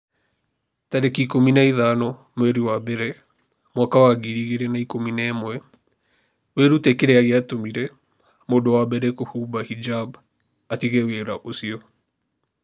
tarĩki ikũmi na ithano mweri wa mbere mwaka wa ngiri igĩrĩ na ikũmi na ĩmweWĩrute kĩrĩa gĩatũmire mũndũ wa mbere kũhumba hijab 'atige wĩra ũcio.